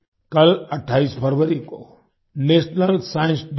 कल 28 फरवरी को नेशनल साइंस डे है